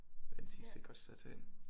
Er Den Sidste et godt sted at tage hen